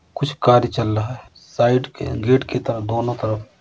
कुछ कार्य चल रहा है। साइड के गेट की तरफ दोनों तरफ --